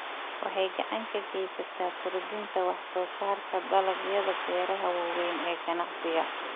Waxay gacan ka geysataa kordhinta wax-soo-saarka dalagyada beeraha waaweyn ee ganacsiga.